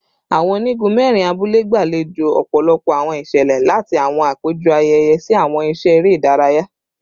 Awọn onigun mẹrin abule gbalejo ọpọlọpọ awọn iṣẹlẹ, lati awọn apejọ ayẹyẹ si awọn iṣẹ ere idaraya